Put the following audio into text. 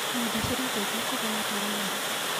Nenda cirateithia kũgaya taranda.